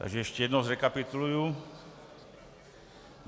Takže ještě jednou zrekapituluji.